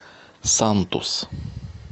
сантус